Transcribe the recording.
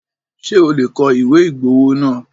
Ṣé o lè kọ ìwé ìgbowó náà?